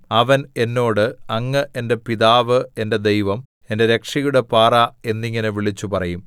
അവൻ എന്നോട് അങ്ങ് എന്റെ പിതാവ് എന്റെ ദൈവം എന്റെ രക്ഷയുടെ പാറ എന്നിങ്ങനെ വിളിച്ചുപറയും